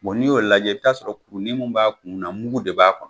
N'i y'o lajɛ i bi t'a sɔrɔ kunni mun b'a kun na mugu de b'a kɔnɔ.